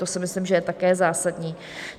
To si myslím, že je také zásadní.